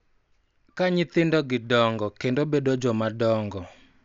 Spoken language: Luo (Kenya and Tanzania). Ka nyithindogi dongo kendo bedo jomadongo .